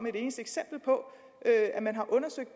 et eneste eksempel på at man har undersøgt